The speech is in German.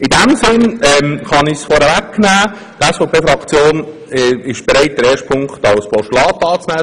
In diesem Sinne ist die SVP-Fraktion bereit, den ersten Punkt als Postulat anzunehmen.